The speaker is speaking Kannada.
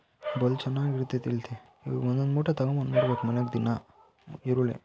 ಬಲೂ ಚೆನ್ನಾಗಿ ಬೆಳಿತಾಯ್ತಂತೆ ಇವು ಒಂದೊಂದು ಮೂಟೆ ತಗೊಂಡು ಬಂದು ಬಿಡಬೇಕು ಮನೆಗೆ ದಿನ ಈರುಳ್ಳಿ.